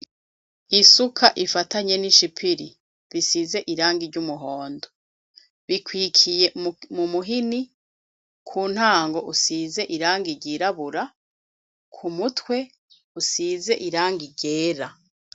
Isuka ifatanye n'ishipiri bisize irangi ry'umuhondo. Bikwikiye mu muhini, ku ntango usize irangi ryirabura, ku mutwe usize irangi ryera.